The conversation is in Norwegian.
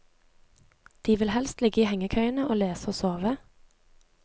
De vil helst ligge i hengekøyene og lese og sove.